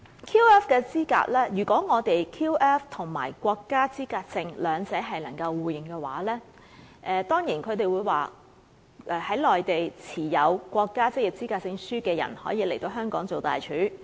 可能有人會說，如果我們的 QF 與國家職業資格證互認的話，在內地持有國家職業資格證的人，便可以來香港擔任大廚。